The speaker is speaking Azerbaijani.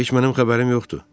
Heç mənim xəbərim yoxdur.